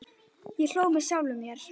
Ég hló með sjálfum mér.